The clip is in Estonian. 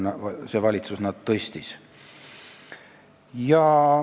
See valitsus on need sinna tõstnud.